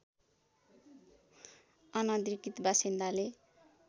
अनधिकृत बासिन्दाले